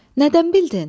Nədən bildin?